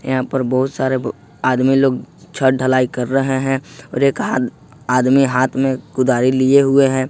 यहां पर बहुत सारे आदमी लोग छत ढलाई कर रहे हैं और एक आदमी हाथ में कुदारी लिए हुए हैं।